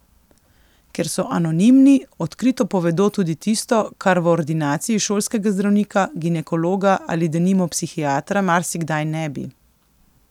Ker so anonimni, odkrito povedo tudi tisto, kar v ordinaciji šolskega zdravnika, ginekologa ali denimo psihiatra marsikdaj ne bi.